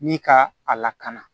Ni ka a lakana